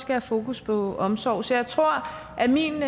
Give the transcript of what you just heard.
have fokus på omsorg så jeg tror at min